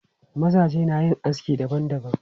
Mazaje na yin aski dabam dabam.